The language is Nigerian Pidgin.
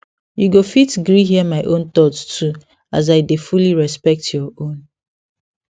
you go fit gree hear my own thoughts too as i dey fully respect your own